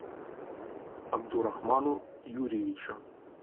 абдурахману юрьевичу